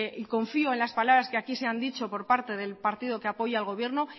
y confío en las palabras que aquí se han dicho por parte del partido que apoya el gobierno